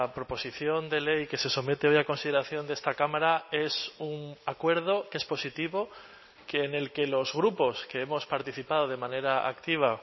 proposición de ley que se somete hoy a consideración de esta cámara es un acuerdo que es positivo que en el que los grupos que hemos participado de manera activa